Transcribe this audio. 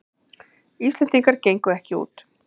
Íslendingar gengu ekki út